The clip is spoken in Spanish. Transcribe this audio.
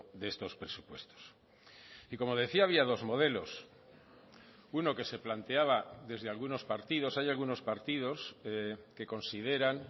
de estos presupuestos y como decía había dos modelos uno que se planteaba desde algunos partidos hay algunos partidos que consideran